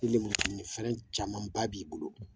lemurukumunu fɛrɛn caman ba b'i bolo